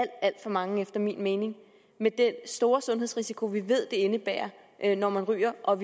alt for mange efter min mening med den store sundhedsrisiko vi ved det indebærer når man ryger og